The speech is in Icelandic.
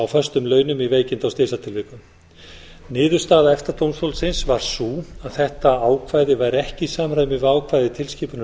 á föstum launum í veikinda og slysatilvikum niðurstaða efta dómstólsins var sú að þetta ákvæði væri ekki í samræmi við ákvæði tilskipunar